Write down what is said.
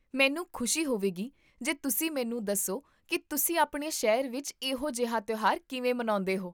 ਮੈਨੂੰ ਖੁਸ਼ੀ ਹੋਵੇਗੀ ਜੇ ਤੁਸੀਂ ਮੈਨੂੰ ਦੱਸੋ ਕੀ ਤੁਸੀਂ ਆਪਣੇ ਸ਼ਹਿਰ ਵਿੱਚ ਇਹੋ ਜਿਹਾ ਤਿਉਹਾਰ ਕਿਵੇਂ ਮਨਾਉਂਦੇ ਹੋ